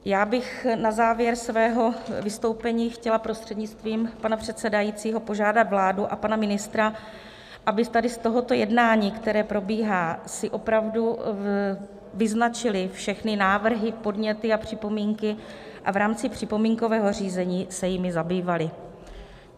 Já bych na závěr svého vystoupení chtěla prostřednictvím pana předsedajícího požádat vládu a pana ministra, aby tady z tohoto jednání, které probíhá, si opravdu vyznačili všechny návrhy, podněty a připomínky a v rámci připomínkového řízení se jimi zabývali.